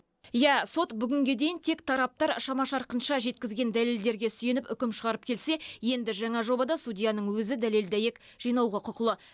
ия сот бүгінге дейін тек тараптар шама шарқынша жеткізген дәлелдерге сүйеніп үкім шығарып келсе енді жаңа жобада судьяның өзі дәлел дәйек жинауға құқылы